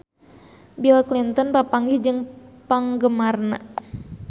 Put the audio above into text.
Bill Clinton papanggih jeung penggemarna